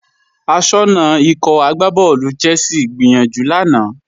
Aṣọ́nà Ikọ̀ agbábọ́ọ̀lù Chelsea gbìyànjú lánàá